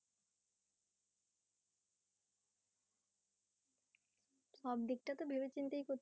সবদিক টা তো ভেবেচিন্তেই করতে